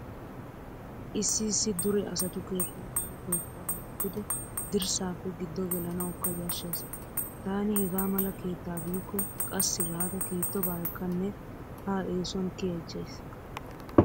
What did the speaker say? Issi issi dure asatu keettay kawo keettaa milatidi dirssaappe giddo gelanawukka yashshees. Taani hegaa mala keettaa biikko qassi gaada kiittobaa ekkanne ha eesuwan kiyaychchays.